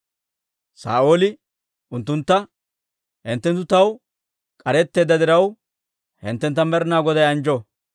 Saa'ooli unttuntta, «Hinttenttu taw k'aretteedda diraw, hinttentta Med'inaa Goday anjjo.